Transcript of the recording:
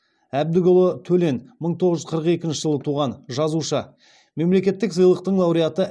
әбдікұлы төлен мың тоғыз жүз қырық екінші жылы туған жазушы мемлекеттік сыйлықтың лауреаты